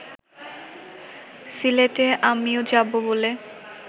সিলেটে আমিও যাব বলে